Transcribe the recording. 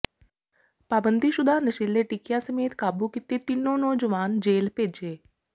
ਪਾਬੰਦੀਸ਼ੁਦਾ ਨਸ਼ੀਲੇ ਟੀਕਿਆਂ ਸਮੇਤ ਕਾਬੂ ਕੀਤੇ ਤਿੰਨੋਂ ਨੌਜਵਾਨ ਜੇਲ੍ਹ ਭੇਜੇ